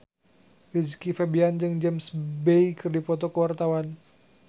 Rizky Febian jeung James Bay keur dipoto ku wartawan